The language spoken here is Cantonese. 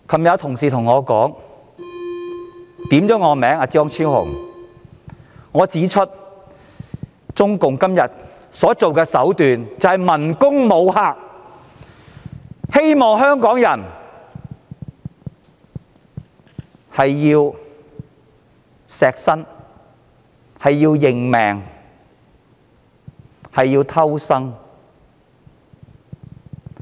昨天張超雄議員發言時引述我提到，中共今天所用的手段是文攻武嚇，令香港人為明哲保身而應命偷生。